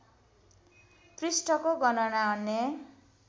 पृष्ठको गणना अन्य